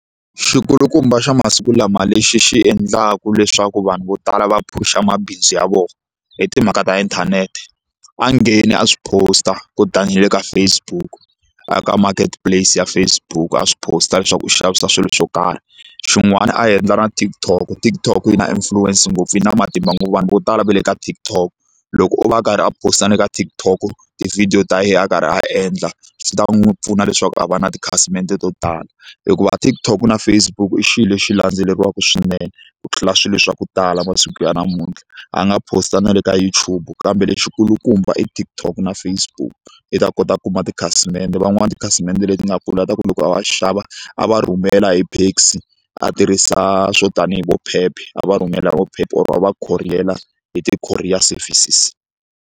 Xikulukumba xa masiku lama lexi xi endlaka leswaku vanhu vo tala va phusha mabindzu ya vona hi timhaka ta inthanete a ngheni a swi post-a kutani na le ka Facebook a marketplace ya Facebook a swi post-a leswaku u xavisa swilo swo karhi xin'wana a endla na TikTok TikTok yi na influence ngopfu yi na matimba ngopfu vanhu vo tala va le ka TikTok loko o va a karhi a post-a na le ka TikTok tivhidiyo ta yena a karhi a endla swi ta n'wi pfuna leswaku a va na tikhasimende to tala hikuva TikTok na Facebook i xilo lexi landzeleriwaka swinene ku tlula swilo swa ku tala masiku ya namuntlha a nga post-a na le ka YouTube kambe lexi kulukumba i TikTok na Facebook i ta kota ku kuma ti khasimende van'wani tikhasimende leti nga kula hi ku loko a va xava a va rhumela hi Paxi a tirhisa swo tanihi vo Pep a va rhumela vo Pep or va khoriyela hi ti-courier services.